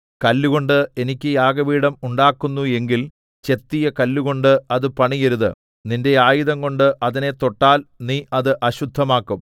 കല്ലുകൊണ്ട് എനിക്ക് യാഗപീഠം ഉണ്ടാക്കുന്നു എങ്കിൽ ചെത്തിയ കല്ലുകൊണ്ട് അത് പണിയരുത് നിന്റെ ആയുധംകൊണ്ട് അതിനെ തൊട്ടാൽ നീ അത് അശുദ്ധമാക്കും